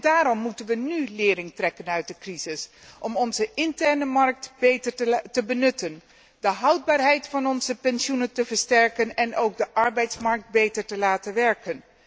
Daarom moeten we nu lering trekken uit de crisis, om onze interne markt beter te benutten, de houdbaarheid van onze pensioenen te versterken en ook de arbeidsmarkt beter te laten werken.